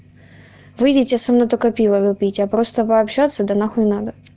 выйдите со мной только пиво попить а просто пообщаться да нахуй надо